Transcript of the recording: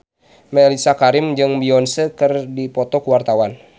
Mellisa Karim jeung Beyonce keur dipoto ku wartawan